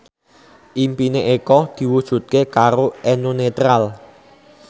impine Eko diwujudke karo Eno Netral